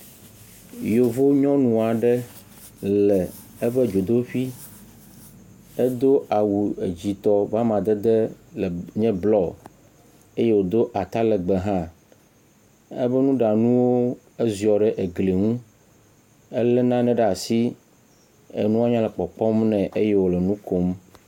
Yevu nyɔnu aɖe le eƒe dzodoƒui, edo awu edzitɔ ƒe amadede le blɔ, eye edo atalegbe hã. Ebe nuɖanuwo ziɔ ɖe egli ŋu, elé nane ɖe asi, enua nya le kpɔkpɔm nɛ eye wòle nu kom.